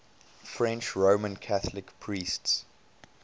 french roman catholic priests